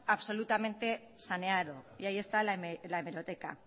absolutamente saneado y ahí está la hemeroteca